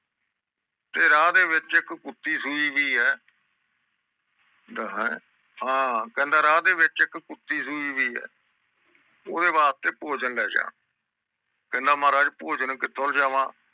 ਤੇ ਰਾਹ ਦੇ ਵਿਚ ਇਕ ਕੁੱਤੀ ਸੂਈ ਵੀ ਆ ਕਹਿੰਦਾ ਹੈਂ ਹਾਂ ਕਹਿੰਦਾ ਰਾਹ ਵਿਚ ਇਕ ਕੁੱਤੀ ਸੂਈ ਹੁਈ ਹੈ ਓਹਦੇ ਵਾਸਤੇ ਭੋਜਨ ਲੈਜਾ ਕਹਿੰਦਾ ਮਹਾਰਾਜ ਭੋਜਨ ਕਿਥੋਂ ਲਿਆਵਾਂ?